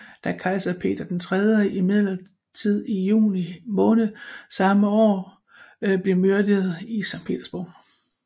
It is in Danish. Da kejser Peter III imidlertid i juli samme år blev myrdet i Skt